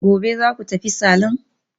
Gobe ​​zaku tafi salon?